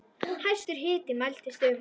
Hæstur hiti mældist um